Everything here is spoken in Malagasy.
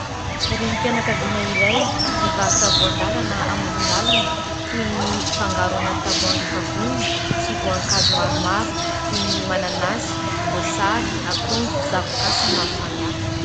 Renim-pianakaviana iray mivarotra voan-dalana amoron-dalana toy ny fangaro anaty tavoahangy efa vonona sy voankazo maromaro toy ny : mananasy, voasary, akondro, zavoka sy ny maro samihafa.